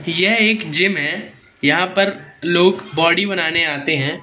यह एक जिम है यहां पर लोग बॉडी बनाने आते हैं।